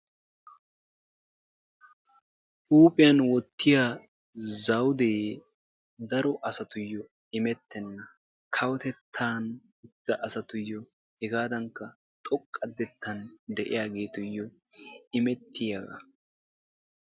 Huuphiyan wottiya zawudee daro asatuyyo imettenna. kawotettan uttida asatuyyo hegaadankka xoqqa xekkan de'iyagetuyyo imettiyaga.